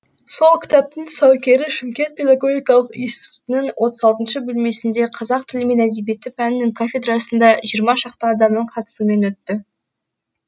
сол кітаптың тұсаукері шымкент педагогикалық институтының отыз алтыншы бөлмесінде қазақ тілі мен әдебиеті пәнінің кафедрасында жиырма шақты адамның қатысуымен өтті